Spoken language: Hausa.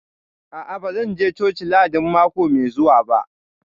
A'a, ba zan je coci Lahadin mako mai zuwa ba